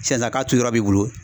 Sisan sisan k'a turu yɔrɔ b'i bolo.